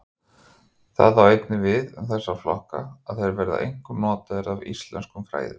Það á einnig við um þessa flokka að þeir verða einkum notaðir af íslenskum fræðimönnum.